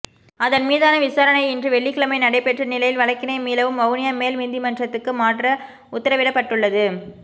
அதன் மீதான விசாரணை இன்று வெள்ளிக்கிழமை நடைபெற்ற நிலையில் வழக்கினை மீளவும் வவுனியா மேல் நீதிமன்றுக்கு மாற்ற உத்தரவிடப்பட்டுள்ளது